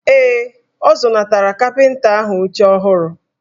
Ee, ọ zụnatara kapịnta ahụ oche ọhụrụ.